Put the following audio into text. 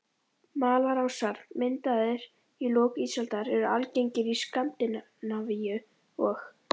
Malarásar, myndaðir í lok ísaldar, eru algengir í Skandinavíu og